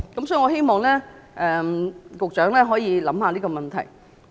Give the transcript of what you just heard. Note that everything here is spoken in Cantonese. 所以，我希望局長會考慮這個問題。